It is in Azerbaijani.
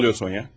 Nə oluyor Sonya?